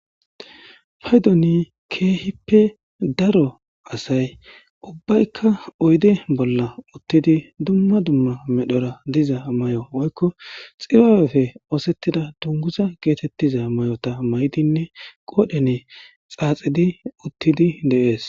paydoni keehippe daro asay ubbaykka oyde bolla uttidi dumma dumma medhora diza may'o woykko xibaawefe oosettida dunguza geetettiza may7ota maydinne qoodhene xaaxidi uttidi deees